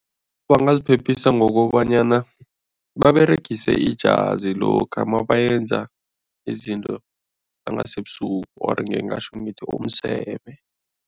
Bangaziphephisa ngokobanyana baberegise ijazi lokha mabayenza izinto zangasebusuku or ngingatjho ngithi umseme.